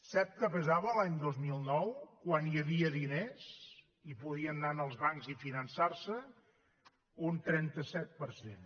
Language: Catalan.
sap què pesava l’any dos mil nou quan hi havia diners i podien anar als bancs i finançar se un trenta set per cent